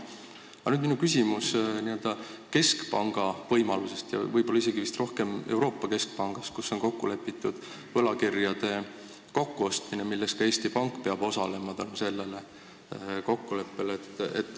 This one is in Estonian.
Aga nüüd meie küsimus keskpanga võimalustest ja võib-olla isegi rohkem Euroopa Keskpangast, kus on kokku lepitud võlakirjade kokkuostmine, milles ka Eesti Pank peab osalema.